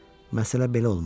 Məsələ belə olmuşdu.